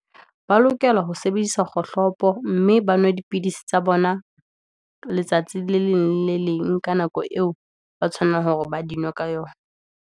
Ba lokela ho sebedisa kgohlopo, mme ba nwe dipidisi tsa bona, letsatsi le leng le leng, ka nako eo ba tshwanelang hore ba di nwe ka yona.